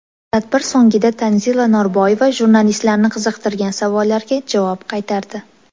Tadbir so‘ngida Tanzila Norboyeva jurnalistlarni qiziqtirgan savollarga javob qaytardi.